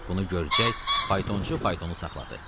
Bunu görcək, faytonçu faytonu saxladı.